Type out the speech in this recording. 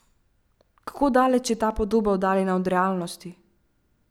Kako daleč je ta podoba oddaljena od realnosti?